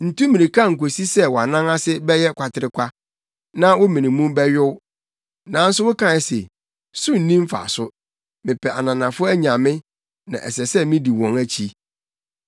Ntu mmirika nkosi sɛ wʼanan ase bɛyɛ kwaterekwa, na wo mene mu bɛyow. Nanso wokae se, ‘So nni mfaso! Mepɛ ananafo anyame, na ɛsɛ sɛ midi wɔn akyi.’